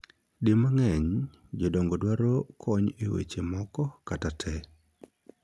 Di mang'eny, jodongo dwaro kony e wechegi moko kata tee